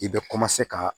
I bɛ ka